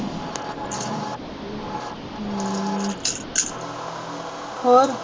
ਹੋਰ